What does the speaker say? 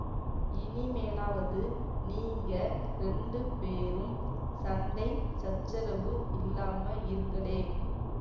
இனிமேலாவது நீங்க ரெண்டு பேரும் சண்டை சச்சரவு இல்லாம இருங்களேன்